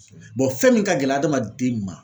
Bɔn fɛn min ka gɛlɛn adamaden ma